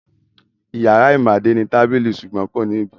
Ìyàrá Ìmádé ní tábìlì ṣùgbọ́n kò ní ibùsùn.